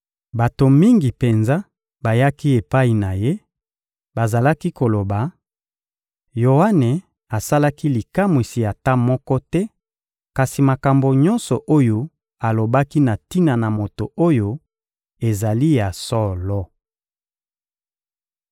Bato mingi penza bayaki epai na Ye; bazalaki koloba: «Yoane asalaki likamwisi ata moko te, kasi makambo nyonso oyo alobaki na tina na moto oyo ezali ya solo!»